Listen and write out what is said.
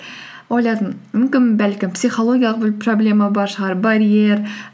ойладым мүмкін бәлкім психологиялық бір проблема бар шығар барьер